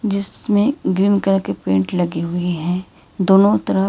जिसमें green colour के paint लगी हुई हैं दोनों तरफ।